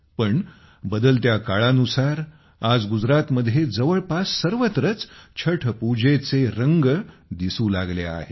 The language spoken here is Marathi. पण बदलत्या काळानुसार आज गुजरातमध्ये जवळपास सर्वत्रच छठपूजेचे रंग दिसू लागले आहेत